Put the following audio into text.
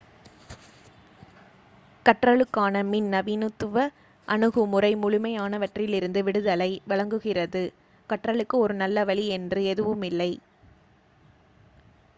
கற்றலுக்கான பின் நவீனத்துவ அணுகுமுறை முழுமையானவற்றிலிருந்து விடுதலை வழங்குகிறது கற்றலுக்கு ஒரு நல்ல வழி என்று எதுவுமில்லை